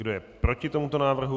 Kdo je proti tomuto návrhu?